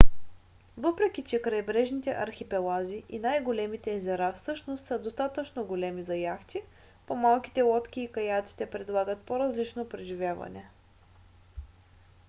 въпреки че крайбрежните архипелази и най-големите езера всъщност са достатъчно големи за яхти по-малките лодки и каяците предлагат по-различно преживяване